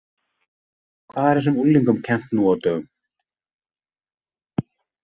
Hvað er þessum unglingum kennt nú á dögum?